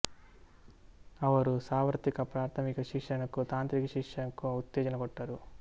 ಅವರು ಸಾರ್ವತ್ರಿಕ ಪ್ರಾಥಮಿಕ ಶಿಕ್ಷಣಕ್ಕೂ ತಾಂತ್ರಿಕ ಶಿಕ್ಷಣಕ್ಕೂ ಉತ್ತೇಜನ ಕೊಟ್ಟರು